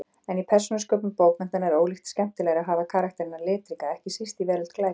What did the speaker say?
En í persónusköpun bókmenntanna er ólíkt skemmtilegra að hafa karakterana litríka, ekki síst í veröld glæpa.